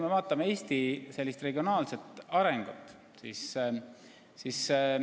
Vaadakem Eesti regionaalset arengut!